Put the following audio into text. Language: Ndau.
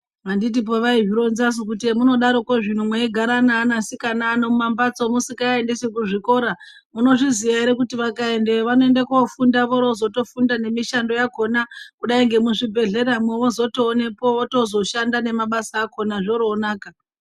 Anditi pavaizvironza suu kuti emunodaroko zvino mweigara neanasikana ano mumambatso musikaaendisi kuzvikora, munozviziya ere kuti vakaendeyo vanoenda koofunda vorozoto funda nemishando yakhona kudai ngemu zvibhedhleramwo vozotoonepo votozoshanda nemumabasa akhona zvoroonaka .